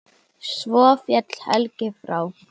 Svo féll Helgi frá.